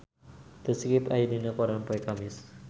The Script aya dina koran poe Kemis